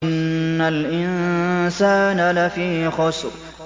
إِنَّ الْإِنسَانَ لَفِي خُسْرٍ